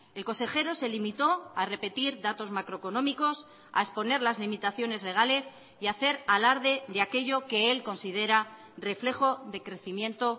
el consejero se limitó a repetir datos macroeconómicos a exponer las limitaciones legales y a hacer alarde de aquello que él considera reflejo de crecimiento